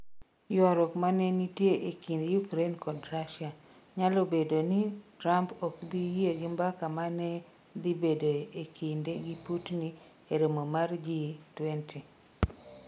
Ywaruok ma ne nitie e kind Ukraine kod Russia: Nyalo bedo ni Trump ok bi yie gi mbaka ma ne dhi bedoe e kinde gi Putin e romo mar G20